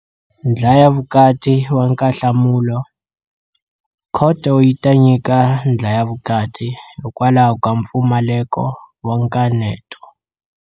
Ndlhayavukatiwankanhlamulo? Khoto yi ta nyika ndlhayavukati hikwalaho ka mpfumaleko wa nkaneto.